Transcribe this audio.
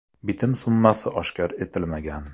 Bitim summasi oshkor etilmagan.